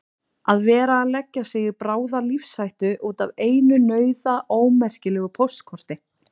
Að vera að leggja sig í bráða lífshættu út af einu nauðaómerkilegu póstkorti!